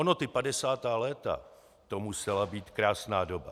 Ono ty padesátá léta, to musela být krásná doba.